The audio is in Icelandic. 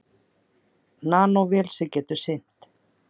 Nanóvél sem getur synt.